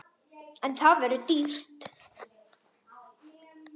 En það verður dýrt.